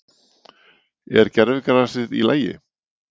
Er gervigrasið í lagi?